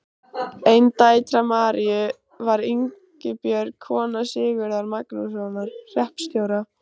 Ein dætra Maríu var Ingibjörg, kona Sigurðar Magnússonar hreppstjóra.